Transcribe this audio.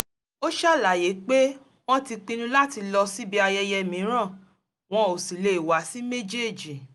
ó ṣàlàyé pé wọ́n ti pinnu láti lọ síbi ayẹyẹ mìíràn wọn ò sì lè wá sí méjèèjì